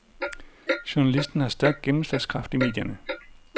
Journalisten har stærk gennemslagskraft i medierne.